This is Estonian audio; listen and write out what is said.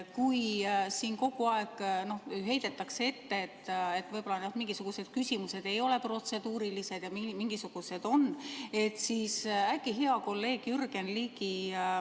Kui siin kogu aeg heidetakse ette, et võib-olla mingisugused küsimused ei ole protseduurilised ja mingisugused on, siis äkki hea kolleeg Jürgen Ligi ...